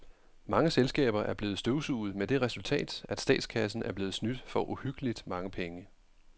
Mange selskaber er blevet støvsuget med det resultat, at statskassen er blevet snydt for uhyggeligt mange penge.